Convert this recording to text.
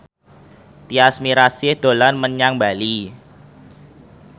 Tyas Mirasih dolan menyang Bali